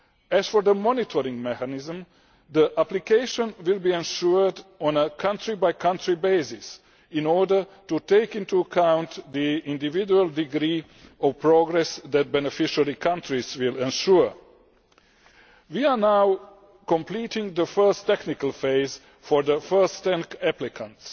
As for the monitoring mechanism, the application will be ensured on a country by country basis in order to take into account the individual degree of progress that beneficiary countries will ensure. We are now completing the first technical phase for the first ten applicants.